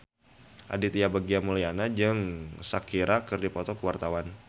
Aditya Bagja Mulyana jeung Shakira keur dipoto ku wartawan